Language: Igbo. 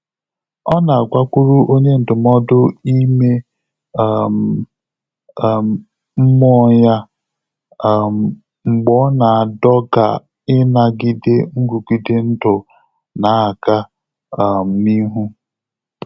Ọ́ nà-àgàkwùrù ọ́nyé ndụ́mọ́dụ́ ímé um um mmụ́ọ́ yá um mgbè ọ́ nà-àdọ́gà ínàgídé nrụ́gídé ndụ́ nà-ágá um n’íhú.